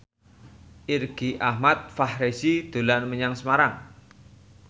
Irgi Ahmad Fahrezi dolan menyang Semarang